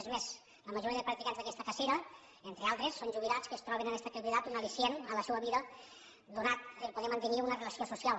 és més la majoria de practicants d’aquesta cacera entre altres són jubilats que troben en aquesta activitat un allicient a la seua vida donat el fet de poder mantenir una relació social